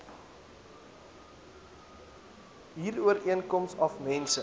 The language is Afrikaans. huurooreenkoms af mense